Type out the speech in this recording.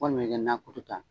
Walima i nan kutu ta.